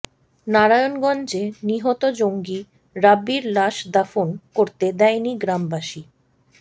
নারায়ণগঞ্জে নিহত জঙ্গি রাব্বীর লাশ দাফন করতে দেয়নি গ্রামবাসী